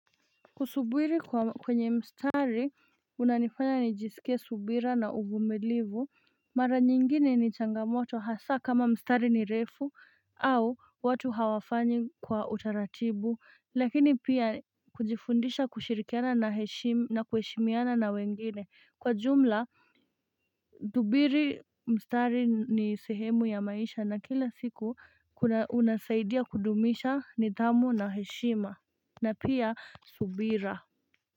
Kusubiri kwenye mstari unanifanya nijiskie subira na uvumilivu Mara nyingine ni changamoto hasa kama mstari ni refu au watu hawafanyi kwa utaratibu lakini pia kujifundisha kushirikiana na heshima na kuheshimiana na wengine kwa jumla Dubiri mstari ni sehemu ya maisha na kila siku unasaidia kudumisha nidhamu na heshima na pia subira.